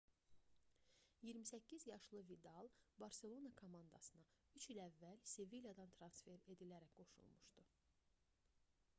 28 yaşlı vidal barselona komandasına 3 il əvvəl sevilyadan transfer edilərək qoşulmuşdu